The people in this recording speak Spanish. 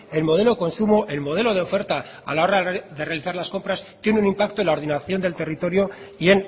el modelo consumo el modelo de oferta a la hora de realizar las compras tiene un impacto en la ordenación del territorio y